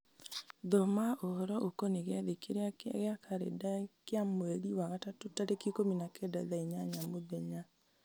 thoma ũhoro ũkoniĩ gĩathĩ kĩrĩa gĩ karenda-inĩ kĩa mweri wa gatatũ tarĩki ikũmi na kenda thaa inyanya mũthenya